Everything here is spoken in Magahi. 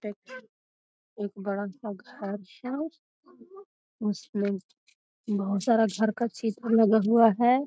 देखी एक बड़ा सा घर है। उसमें बहुत सारा घर का चित्र लगा हुआ है।